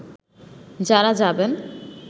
যারা যাবেন